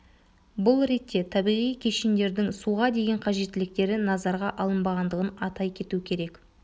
бұл ретте табиғи кешендердің суға деген қажеттіліктері назарға алынбағандығын атай кету керек